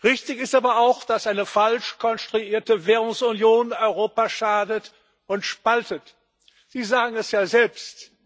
Richtig ist aber auch, dass eine falsch konstruierte Währungsunion Europa schadet und spaltet. Sie sagen es ja selbst.